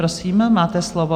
Prosím, máte slovo.